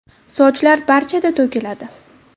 Sochlar barchada to‘kiladi.